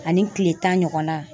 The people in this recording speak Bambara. Ani kile tan ɲɔgɔnna.